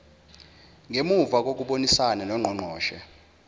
ngemuva kokubonisana nongqongqoshe